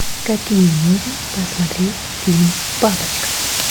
какие можно посмотреть фильм папочка